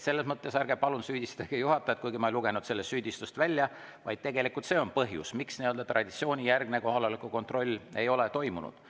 Selles mõttes ärge palun süüdistage juhatajat, kuigi ma ei lugenudki sellest süüdistust välja, aga see on tegelik põhjus, miks traditsioonijärgne kohaloleku kontroll ei ole toimunud.